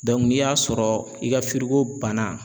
n'i y'a sɔrɔ i ka banna